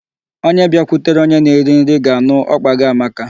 Onye bịakwutere onye na-eri nri ga-anụ ọkpa gị amaka.